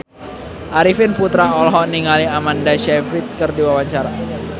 Arifin Putra olohok ningali Amanda Sayfried keur diwawancara